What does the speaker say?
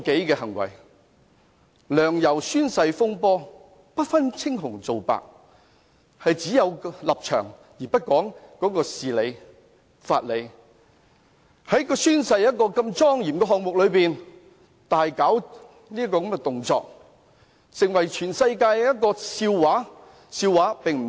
例如"梁游宣誓風波"，不分青紅皂白，只有立場，而不講事理、法理，在宣誓的莊嚴儀式中，大搞動作，成為全世界的笑柄。